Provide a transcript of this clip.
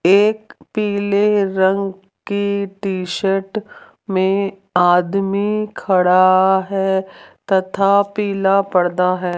एक पीले रंग की टी शर्ट में आदमी खड़ा है तथा पीला पर्दा है।